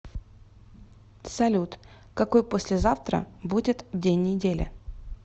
салют какой послезавтра будет день недели